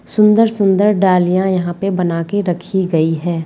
सुंदर-सुंदर डालियाँ यहां पे बनाकर रखी गई है।